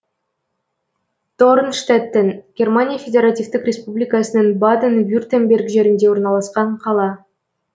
дорнштеттен германия федеративтік республикасының баден вюртемберг жерінде орналасқан қала